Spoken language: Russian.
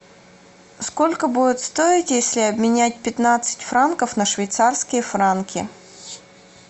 сколько будет стоить если обменять пятнадцать франков на швейцарские франки